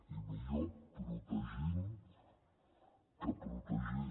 i millor protegint que protegint